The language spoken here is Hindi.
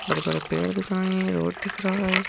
बड़े-बड़े पेड़ दिख रहे हैं रोड दिख रहा है।